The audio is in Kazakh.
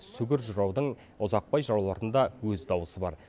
сүгір жыраудың ұзақбай жыраулардың да өз даусы бар